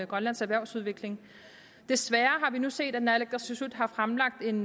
grønlands erhvervsudvikling desværre har vi nu set at naalakkersuisut har fremlagt en